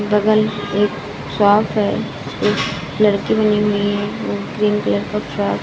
बगल एक शोप है एक लड़की बनी हुई है वो ग्रीन कलर का फ्रॉक --.